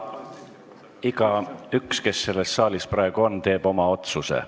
Igaüks, kes selles saalis praegu on, teeb oma otsuse.